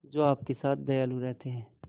जो आपके साथ दयालु रहते हैं